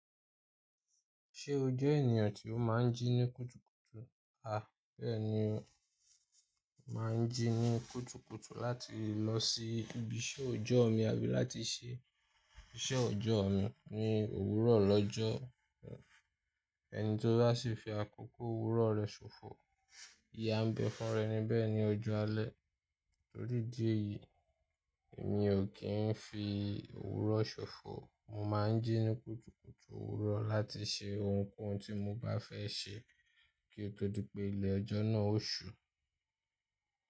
Ṣé o jẹ́ ènìyàn tí ó máa ń jí ní kùtùkùtù? A, bẹ́ẹ̀ni o. Mo máa ń jí ní kùtùkùtù láti lọ sí ibi iṣẹ́ ọjọ́ mi àbí láti ṣe iṣẹ́ ọjọ́ mi ní òwúrọ̀ lọ́jọ́. Ẹni tó bá sì fi àkókò òwúrọ̀ rẹ̀ ṣòfò, ìyà ń bẹ̀ fún iru enibẹ̀ ní ojú alẹ́. Torí idí èyí, èmi ò kí ń fi òwúrọ̀ ṣòfò. Mo máa ń jí ní kùtùkùtù òwúrọ̀ láti ṣe ohunkóhun tí mo bá fẹ́ ṣe kí ó tó di pé ilẹ̀ ọjọ́ náà o ṣú.